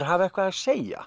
hafa eitthvað að segja